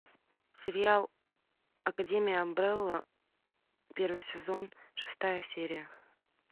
сериал академия амбрелла первый сезон шестая серия